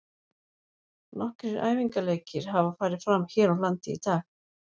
Nokkrir æfingaleikir hafa farið fram hér á landi í dag.